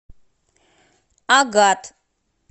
агат